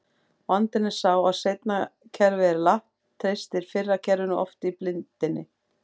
Vandinn er sá að seinna kerfið er latt, treystir fyrra kerfinu oft í blindni.